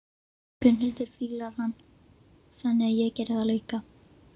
Gunnhildur fílar hann, þannig að ég geri það líka.